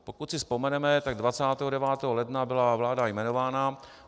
Pokud si vzpomeneme, tak 29. ledna byla vláda jmenována.